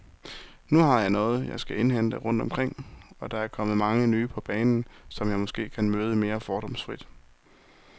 Nu har jeg noget, jeg skal indhente rundt omkring, og der er kommet mange nye på banen, som jeg måske kan møde mere fordomsfrit.